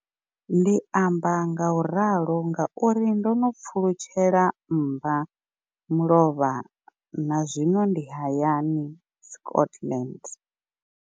Ndi amba ngauralo nga uri ndo pfulutshela mmbamulovha na zwino ndi hayani, Scotland.